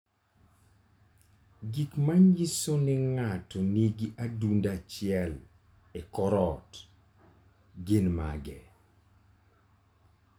Gik manyiso ni ng'ato nigi adundo achiel e kor ot, gin mage?